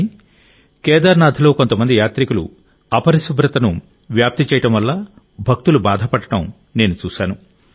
కానీ కేదార్నాథ్లో కొంతమంది యాత్రికులు అపరిశుభ్రంగా వ్యాపింపజేయడం వల్ల భక్తులు చాలా బాధపడటం నేను చూశాను